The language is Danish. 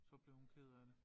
Så blev hun ked af det